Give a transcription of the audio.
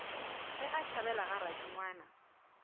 ge a tšhabela ga radingwana